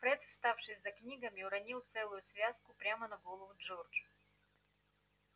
фред вставший за книгами уронил целую связку прямо на голову джорджу